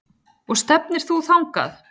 Og stefnir þú þangað?